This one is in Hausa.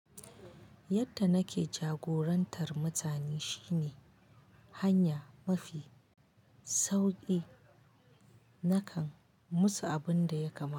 Yadda nake jagorantar mutane shine hanya mafi sauki nakan musu abun da ya kamata.